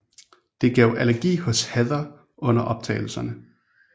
Det gav allergi hos Heather under optagelserne